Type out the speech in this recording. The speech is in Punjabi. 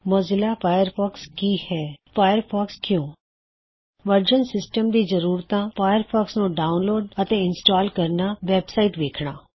ਮੌਜ਼ੀਲਾ ਫਾਇਰਫੌਕਸ ਕੀ ਹੈ160 ਫਾਇਰਫੌਕਸ ਕਿਉ160 ਵਰਜ਼ਨ ਸਿਸਟਮ ਦੀ ਜ਼ਰੂਰਤਾਂ ਫਾਇਰਫੌਕਸ ਨੂੰ ਡਾਉਨਲੋਡ ਅਤੇ ਇੰਸਟਾਲ ਕਰਨਾ ਵੈਬਸਾਇਟ ਵੇਖਣਾ